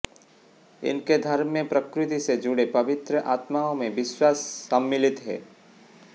इनके धर्म में प्रकृति से जुड़ी पवित्र आत्माओं में विश्वास सम्मिलित है